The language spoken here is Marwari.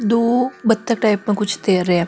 दो बतख टाइप में कुछ तैर रहा है।